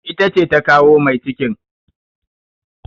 Ita ce ta kawo mai cikin.